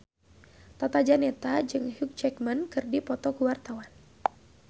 Tata Janeta jeung Hugh Jackman keur dipoto ku wartawan